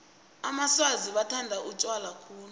amaswazi bathanda utjwala khulu